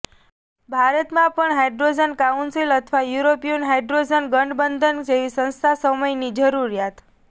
ભારતમાં પણ hydrogen council અથવા યુરોપિયન હાઇડ્રોજન ગઠબંધન જેવી સંસ્થા સમયની જરૂરિયાત